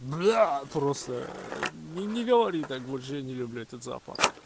бля просто не не говори так больше не люблю этот запах